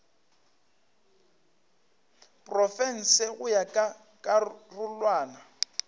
profense go ya ka karolwana